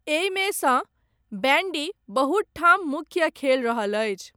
एहिमे सँ, बैण्डी, बहुत ठाम मुख्य खेल रहल अछि।